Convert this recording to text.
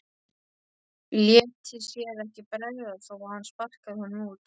Léti sér ekki bregða þó að hann sparkaði honum út.